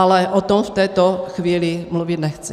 Ale o tom v této chvíli mluvit nechci.